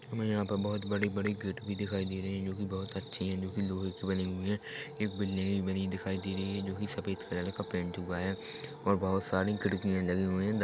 हमे यहाँ पर बहुत बड़ी-बड़ी गेट दिखाई दे रही है जो कि बहुत अच्छी है जोकि लोहे की बनी हुई है एक बिल्डिंगे बनी दिखाई दे रही है जोकि सफेद कलर का पेंट हुआ है और बहुत सारी खिड़कियां लगी हुई है।